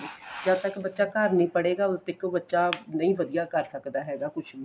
ਜਦ ਤੱਕ ਬੱਚਾ ਘਰ ਨੀਂ ਪੜ੍ਹੇਗਾ ਉਦੋ ਤੱਕ ਬੱਚਾ ਨਹੀਂ ਵਧੀਆ ਕੇ ਸਕਦਾ ਹੈਗਾ ਕੁੱਝ ਵੀ